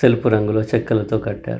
తెలుపు రంగు లో చెక్కలతో కట్టారు.